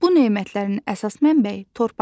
Bu nemətlərin əsas mənbəyi torpaqdır.